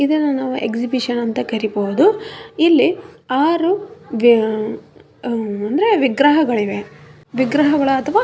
ಇದನ್ನ ನಾವು ಎಕ್ಸಿಬಿಷನ್ ಅಂತ ಕರೀಬಹುದು ಇಲ್ಲಿ ಆರು ಅ ಅಂದ್ರೆ ವಿಗ್ರಹಗಳಿವೆ ವಿಗ್ರಹಗಳು ಅಥವ --